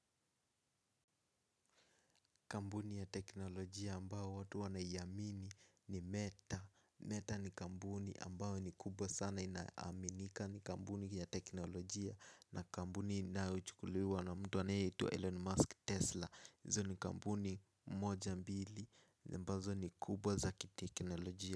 Kambuni ya teknolojia ambao watu wanayamini ni meta Meta ni kambuni ambao ni kubwa sana inaaminika ni kambuni ya teknolojia. Na kambuni inayo chukuliwa na mtu anaye itwa Elon Musk Tesla izo ni kambuni moja mbili ambazo ni kubwa za kiteknolojia.